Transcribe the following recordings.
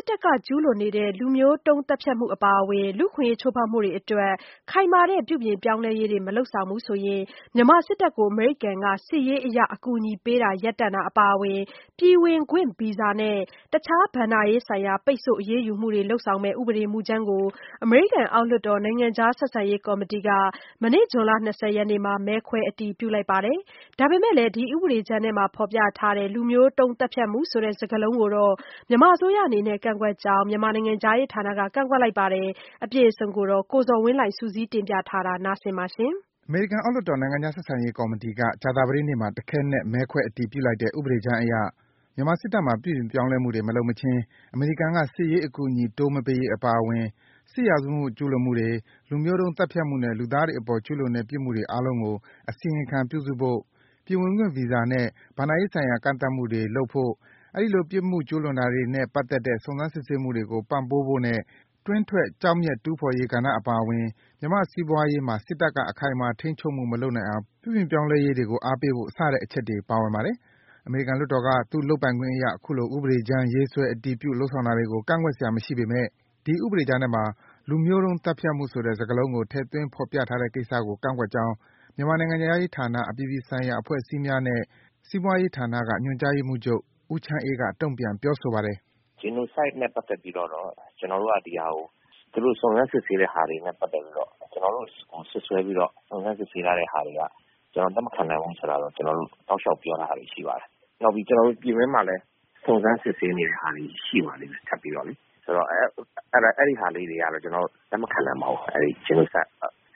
စ်တပ်က ကျူးလွန်နေတဲ့ လူမျိုးတုန်း သတ်ဖြတ်မှု အပါအဝင် အခွင့်အရေးချိုးဖောက်မှုတွေအတွက် ခိုင်မာတဲ့ ပြုပြင်ပြောင်းလဲရေးတွေ မလုပ်ဆောင်ရင် မြန်မာစစ်တပ်ကို အမေရိကန်က စစ်ရေးအရ အကူအညီပေးတာ ရပ်တန့်တာအပါအဝင် ပြည်ဝင်ခွင့်ဗီဇာနဲ့ တခြား ဘဏ္ဍာရေးဆိုင်ရာ ပိတ်ဆို့ အရေးယူမှုတွေ လုပ်ဆောင်မယ့် ဥပဒေမူကြမ်းကို အမေရိကန် အောက်လွှတ်တော် နိုင်ငံခြားဆက်ဆံရေး ကော်မတီက မနေ့ ဇွန်လ ၂၀ ရက်နေ့မှာ မဲခွဲ အတည်ပြုလိုက်ပါတယ်။ ဒါပေမယ့် ဒီဥပဒေကြမ်းထဲမှာ ဖော်ပြထားတဲ့ လူမျိုးတုန်း သတ်ဖြတ်မှုဆိုတဲ့စကားလုံးကို အစိုးရအနေနဲ့ ကန့်ကွက်ကြောင်း မြန်မာနိုင်ငံခြားရေးဌာနက ကန့်ကွက်လိုက်ပါတယ်။ အပြည့်အစုံကိုတော့ ကိုဇော်ဝင်းလှိုင်က စုစည်း တင်ပြပေးထားပါတယ်။ အမေရိကန် အောက်လွှတ်တော် နိုင်ငံခြားဆက်ဆံရေးကော်မတီက ကြာသပတေးနေ့မှာ တခဲနက် မဲခွဲအတည်ပြုလိုက်တဲ့ ဥပဒေကြမ်းအရ - မြန်မာစစ်တပ်မှာ ပြုပြင်ပြောင်းလဲမှုတွေ မလုပ်မချင်း အမေရိကန်က စစ်ရေးအကူအညီ တိုး မပေးရေးအပါအဝင် စစ်ရာဇဝတ်မှု ကျူးလွန်မှုတွေ၊ လူမျိုးတုန်းသတ်ဖြတ်မှုနဲ့ လူသားတွေအပေါ် ကျူးလွန်တဲ့ ပြစ်မှုတွေအားလုံးကို အစီရင်ခံပြုစုဖို့၊ ပြည်ဝင်ခွင့် Visa နဲ့ ဘဏ္ဍာရေးဆိုင်ရာ ကန့်သတ်မှုတွေလုပ်ဖို့၊ အဲဒီလိုပြစ်မှုကျူးလွန်တာတွေနဲ့ ပါတ်သက်တဲ့ စုံစမ်းစစ်ဆေးမှုတွေကို ပံ့ပိုးဖို့နဲ့ တွင်းတွက် ကျောက်မျက်တူးဖော်ရေး ကဏ္ဍအပါအဝင် မြန်မာ့စီးပွားရေးမှာ စစ်တပ် အခိုင်အမာ ထိန်းချုပ်မှု မလုပ်နိုင်အောင် ပြုပြင်ပြောင်းလဲရေးတွေကို အားပေးဖို့ စတဲ့အချက်တွေ ပါဝင်ပါတယ်။ အမေရိကန်လွှတ်တော်က သူ့လုပ်ပိုင်ခွင့်အရ အခုလို ဥပဒေကြမ်း ရေးဆွဲ အတည်ပြု လုပ်ဆောင်တာတွေကို ကန့်ကွက်စရာ မရှိပေမယ့် ဒီဥပဒေကြမ်းထဲမှာ ဆိုတဲ့ စကားလုံးကို ထည့်သွင်း ဖော်ပြထားတဲ့ကိစ္စကို ကန့်ကွက်ကြောင်း မြန်မာ နိုင်ငံခြားရေးဌာန အပြည်ပြည်ဆိုင်ရာ အဖွဲ့အစည်းများနှင့် စီးပွားရေးဌာနက ညွှန်ကြားရေးမှူးချုပ် ဦးချမ်းအေးက တုံ့ပြန် ပြောဆိုပါတယ်။ ဦးချမ်းအေး ။ ။ "Genocide နဲ့ ပတ်သက်ပြီးတော့ ကျနော်တို့က ဒီဟာကို သူတို့က စုံစမ်းစစ်ဆေးတဲ့ဟာတွေနဲ့ ပတ်သက်ပြီးတော့ ကျနော်တို့ကို စွပ်စွဲပြီးတော့ စုံစမ်းစစ်ဆေးထားတဲ့ဟာတွေက ကျနော်တို့ လက်မခံနိုင်ဘူးဆိုတာတော့ ကျနော်တို့ တောက်လျှောက်ပြောထားတဲ့ဟာတွေ ရှိပါတယ်။ နောက်ပြီး ကျနော်တို့ ပြည်တွင်းမှာလည်း စုံစမ်းစစ်ဆေးနေတဲ့ဟာလေးတွေ ရှိပါသေးတယ် ထပ်ပြီးတော့လေ။ ဆိုတော့ အဲဒီဟာလေးတွေကတော့ ကျနော်တို့ လက်မခံနိုင်ပါဘူး။ အဲ့ဒီ Genocide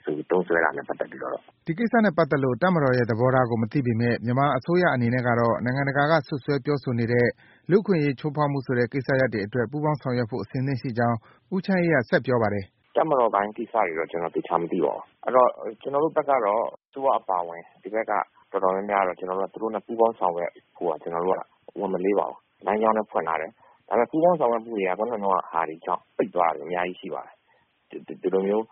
လို့ သုံးစွဲတာနဲ့ ပတ်သက်ပြီးတော့။" ဒီကိစ္စနဲ့ပတ်သက်လို့ တပ်မတော်ရဲ့ သဘောထားကို မသိပေမယ့် မြန်မာအစိုးရအနေနဲ့ကတော့ နိုင်ငံတကာက စွပ်စွဲပြောဆိုနေတဲ့ လူ့အခွင့်အရေး ချိုးဖောက်မှုဆိုတဲ့ ကိစ္စရပ်တွေအတွက် ပူးပေါင်းဆောင်ရွက်ဖို့ အစဉ်သင့်ရှိကြောင်း ဦးချမ်းအေးက ဆက်ပြောပါတယ်။ ဦးချမ်းအေး ။ ။ "တပ်မတော်ပိုင်းကိစ္စတွေတော့ ကျနော်သေချာမသိပါဘူး။ အဲ့တော့ ကျနော်တို့ဘက်ကတော့ အစိုးရအပါအဝင် ဒီဘက်က တော်တော်များများကတော့ ကျနော်တို့က သူတို့နဲ့ ပူးပေါင်းဆောင်ရွက်ဖို့က ကျနော်တို့က ဝန်မလေးပါဘူး။ လမ်းကြောင်းလည်း ဖွင့်ထားတယ်။ ဒါပေမဲ့ ပူးပေါင်းဆောင်ရွက်မှုတွေက ခုနတုန်းကဟာတွေကြောင့် ပိတ်သွားတာတွေ အများကြီးရှိပါတယ်။ ဒီလိုမျိုး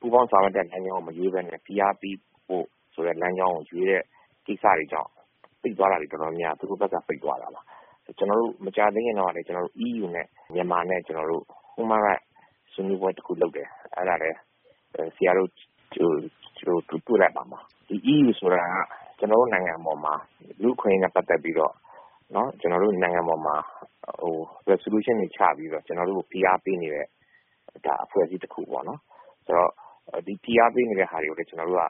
ပူးပေါင်းဆောင်ရွက်တဲ့ လမ်းကြောင်းကို မရွေးဘဲနဲ့ ဖိအားပေးဖို့ဆိုတဲ့ လမ်းကြောင်းကို ရွေးတဲ့ ကိစ္စတွေကြောင့် ပိတ်သွားတာတွေ တော်တော်များများက သူတို့ဘက်က ပိတ်သွားတာပါ။ ကျနော်တို့ မကြာသေးခင်တုန်းကလည်း ကျနော်တို့ EU နဲ့ ကျနော်တို့ မြန်မာနဲ့ ကျနော်တို့ Human Rights ဆွေးနွေးပွဲတခု လုပ်တယ်။ အဲ့ဒါလည်း ဆရာတို့ တွေ့လိုက်မှာပါ။ EU ဆိုတာ ကျနော်တို့ နိုင်ငံအပေါ်မှာ ဒီလူအခွင့်အရေးနဲ့ ပတ်သက်ပြီးတော့ ကျနော်တို့ နိုင်ငံအပေါ်မှာ Resolution တွေ ချပြီးတော့ ကျနော်တို့ကို ဖိအားပေးနေတဲ့ အဖွဲ့အစည်းတခုပေါ့နော်။ ဆိုတော့ ဒီ ဖိအားပေးနေတဲ့ဟာတွေကိုလည်း ကျနော်တို့က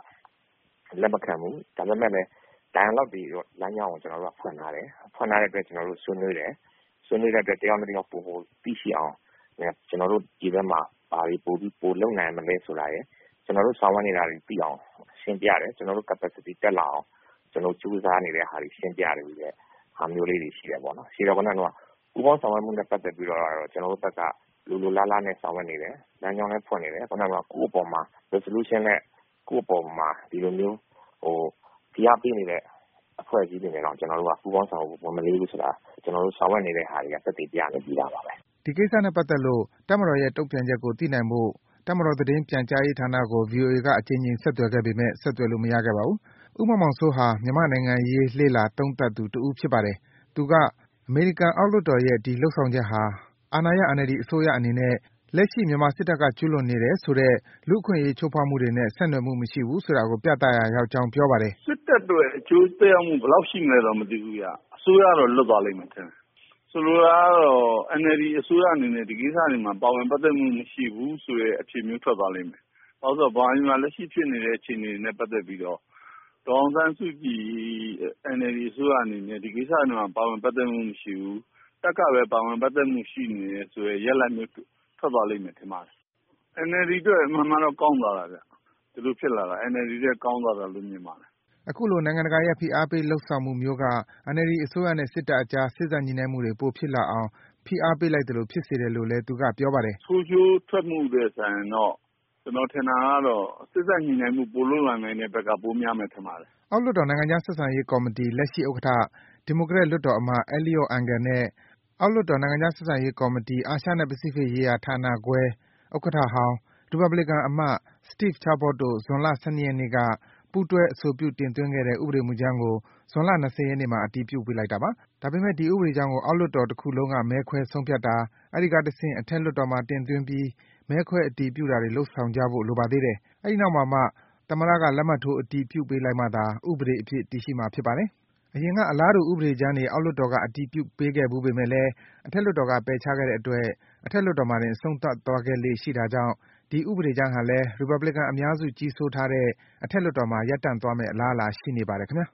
လက်မခံဘူး။ ဒါပေမဲ့လည်း dialogue တွေတော့ လမ်းကြောင်းကိုတော့ ကျနော်တို့က ဖွင့်ထားတယ်။ ဖွင့်ထားတဲ့အတွက် ကျနော်တို့ ဆွေးနွေးတယ်။ ဆွေးနွေးတဲ့အတွက် တယောက်နဲ့ တယောက် ပိုမိုသိရှိအောင်နဲ့ ကျနော်တို့ ဒီဘက်မှာ ဘာတွေ ပိုပြီး ပိုလုပ်နိုင်မလဲဆိုတာရယ်၊ ကျနော်တို့ ဆောင်ရွက်နေတာ ရှင်းပြတယ်။ ကျနော်တို့ capacity တက်လာအောင် ကျနော်တို့ ကြိုးစားနေတဲ့ဟာတွေ ရှင်းပြတဲ့ဟာမျိုးလေးတွေ ရှိတယ်ပေါ့နော်။ ရှိတော့ ခုနတုန်းက ပူးပေါင်းဆောင်ရွက်မှုနဲ့ ပတ်သက်ပြီးတော့ ကျနော်တို့ဘက်က လိုလိုလားလားနဲ့ ဆောင်ရွက်နေတယ်။ လမ်းကြောင်းလည်း ဖွင့်နေတယ်။ ခုနတုန်းက ကိုယ့်အပေါ်မှာ resolution နဲ့ ကိုယ့်အပေါ်မှာ ဒီလိုမျိုး ဖိအားပေးနေတဲ့ အဖွဲ့အစည်းတွေနဲ့တောင် ပူးပေါင်းဆောင်ရွက်ဖို့ ဝန်မလေးဘူးဆိုတာ ကျနော်တို့ ဆောင်ရွက်နေတဲ့ဟာတွေက သက်သေပြနေပြီးသားပါပဲ။" ဒီကိစ္စနဲ့ပတ်သက်လို့ တပ်မတော်ရဲ့ တုံ့ပြန်ချက်ကို သိနိုင်ဖို့ တပ်မတော် သတင်းပြန်ကြားရေးဌာနကို ဗွီအိုအေက အကြိမ်ကြိမ် ဆက်သွယ်ခဲ့ပေမယ့် ဆက်သွယ်လို့ မရခဲ့ပါဘူး။ ဦးမောင်မောင်စိုးဟာ မြန်မာ့နိုင်ငံရေး လေ့လာ သုံးသပ်သူတဦးပါ။ သူက အမေရိကန်အောက်လွှတ်တော်ရဲ့ ဒီလုပ်ဆောင်ချက်ဟာ အာဏာရ NLD အစိုးရအနေနဲ့ လက်ရှိ မြန်မာစစ်တပ်က ကျူးလွန်နေတယ်ဆိုတဲ့ လူ့အခွင့်အရေး ချိုးဖောက်မှုတွေနဲ့ ဆက်နွယ်မရှိဘူးဆိုတာကို ပြသလိုက်ရာရောက်ကြောင်း ပြောပါတယ်။ ဦးမောင်မောင်စိုး ။ ။ "စစ်တပ်အတွက် အကျိုးသက်ရောက်မှု ဘယ်လောက်ရှိမလဲတော့ မသိဘူးဗျ။ အစိုးရတော့ လွတ်သွားလိမ့်မယ်ထင်တယ်။ ဆိုလိုတာကတော့ NLD အစိုးရအနေနဲ့ ဒီကိစ္စတွေမှာ ပါဝင်ပတ်သက်မှု မရှိဘူးဆိုတဲ့ အဖြေမျိုးထွက်သွားလိမ့်မယ်။ ဘာလို့လဲဆိုတော့ ဗမာပြည်မှာ လက်ရှိဖြစ်နေတဲ့ အခြေအနေတွေနဲ့ ပတ်သက်ပြီးတော့ ဒေါ်အောင်ဆန်းစုကြည် NLD အစိုးရအနေနဲ့ ဒီကိစ္စတွေမှာ ပါဝင်ပတ်သက်မှု မရှိဘူး။ တပ်ကပဲ ပါဝင်ပတ်သက်နေတယ်ဆိုတဲ့ ရလဒ်မျိုး ထွက်သွားလိမ့်မယ်ထင်ပါတယ်။ NLD အတွက် အမှန်မှန်တော့ ကောင်းသွားတာဗျ။ ဒီလိုမျိုးဖြစ်လာတဲ့ NLD တွက် ကောင်းသွားတာလို့ မြင်ပါတယ်။" အခုလို နိုင်ငံတကာရဲ့ ဖိအားပေးလုပ်ဆောင်မှုမျိုးက NLD အစိုးရနဲ့ စစ်တပ်အကြား စေ့စပ် ညှိနှိုင်းမှုတွေ ပိုဖြစ်လာအောင် ဖိအားပေးလိုက်သလို ဖြစ်စေတယ်လို့လဲ သူက ပြောပါတယ်။ ဦးမောင်မောင်စိုး ။ ။ "ဆိုးကျိုးထွက်မှုထက်စာရင်တော့ ကျနော်ထင်တာကတော့ စေ့စပ်ညှိနှိုင်းမှု ပိုလုပ်လာနိုင်တဲ့ဘက်က ပိုများမယ် ထင်ပါတယ်။" အောက်လွှတ်တော် နိုင်ငံခြားဆက်ဆံရေးကော်မတီ လက်ရှိ ဥက္ကဋ္ဌ ဒီမိုကရက် လွှတ်တော်အမတ် Eliot Engel နဲ့ အောက်လွှတ်တော် နိုင်ငံခြားဆက်ဆံရေးကော်မတီ အာရှနဲ့ ပစိဖိတ်ရေးရာ ဌာနခွဲ ဥက္ကဋ္ဌဟောင်း ရီပတ်ဘလီကန်အမတ် Steve Chabot တို့ ဇွန်လ ၁၂ ရက်နေ့က ပူးတွဲ အဆိုပြု တင်သွင်းခဲ့တဲ့ ဥပဒေမူကြမ်းကို ဇွန်လ ၂၀ ရက်နေ့မှာ အတည်ပြုပေးလိုက်တာပါ။ ဒါပေမယ့် ဒီဥပဒေကြမ်းကို အောက်လွှတ်တော် တခုလုံးက မဲခွဲဆုံးဖြတ်တာ အဲဒီကတဆင့် အထက်လွှတ်တော်မှာ တင်သွင်းပြီး မဲခွဲ အတည်ပြုတာတွေ လုပ်ဆောင်ကြဖို့ လိုပါသေးတယ်။ အဲဒီနောက်မှာမှ သမ္မတက လက်မှတ်ထိုး အတည်ပြုပေးလိုက်မှသာ ဥပဒေအဖြစ် တည်ရှိမှာ ဖြစ်ပါတယ်။ အရင်က အလားတူ ဥပဒေကြမ်းတွေ အောက်လွှတ်တော်က အတည်ပြုပေးခဲ့ဘူးပေမယ့်လည်း အထက်လွှတ်တော်က ပယ်ချခဲ့တဲ့အတွက် အထက်လွှတ်တော်မှာတင် အဆုံးသတ်သွားခဲ့လေ့ရှိတာကြောင့် ဒီဥပဒေကြမ်းဟာလည်း ရီပတ်ဘလီကန်အများစု ကြီးစိုးထားတဲ့ အထက်လွှတ်တော်မှာတင် ရပ်တန့်သွားမယ့် အလားအလာ ရှိနေပါတယ် ခင်ဗျာ